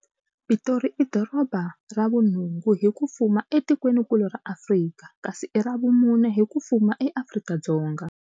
Pitori i doroba ra vu nhungu hi ku fuma e tikwenikulu ra Afrika, kasi i ra vumune hi ku fuma eAfrika-Dzonga.